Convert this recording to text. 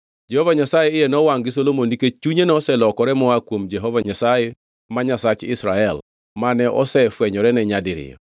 Jehova Nyasaye iye nowangʼ gi Solomon nikech chunye noselokore moa kuom Jehova Nyasaye Nyasach Israel mane osefwenyorene nyadiriyo.